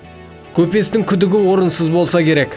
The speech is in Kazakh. көпестің күдігі орынсыз болса керек